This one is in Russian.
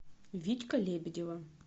витька лебедева